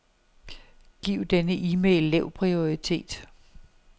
Giv denne e-mail lav prioritet.